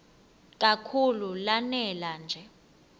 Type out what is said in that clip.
kakhulu lanela nje